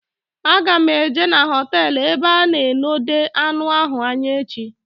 A ga m eje n'hotelu ebe a na enode anụ ahụ anya echi